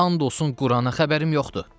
And olsun Qurana, xəbərim yoxdur.